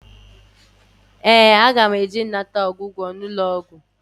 Ee, aga m eje ịnata ọgwụgwọ n'ụlọọgwụ